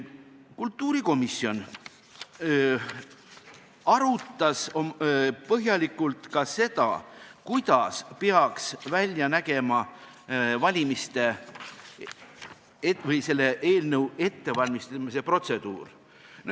Kultuurikomisjon arutas põhjalikult ka seda, kuidas peaks välja nägema valimiste või selle eelnõu ettevalmistamise protseduur.